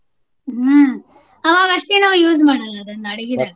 ಹ್ಮ ಅವಗಷ್ಟೇನು use ಮಾಡಲ್ಲ ಅದನ್ನ ಅಡಗಿದಾಗ.